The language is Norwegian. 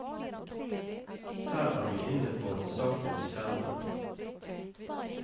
Her er vi inne på sakens kjerne.